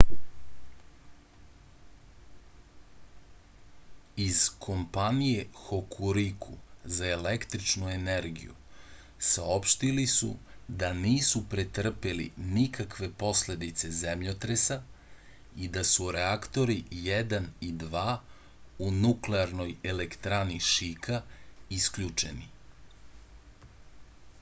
iz kompanije hokuriku za električnu energiju saopštili su da nisu pretrpeli nikakve posledice zemljotresa i da su reaktori 1 i 2 u nuklearnoj elektrani šika isključeni